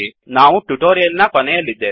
ನಾವು ಟ್ಯುಟೋರಿಯಲ್ ನ ಕೊನೆಯಲ್ಲಿದ್ದೇವೆ